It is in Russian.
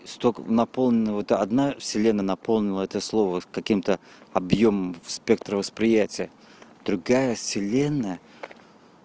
если только наполненного то одна вселенная наполнила это слово каким-то объём спектра восприятия другая вселенная